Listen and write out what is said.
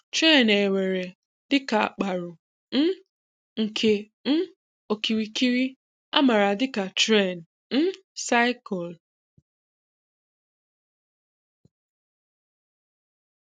Tren èweré dị ka àkpá̀rụ̀ um nke um ‘ọ̀kíríkírí’ à màra dị ka Tren um Cycle.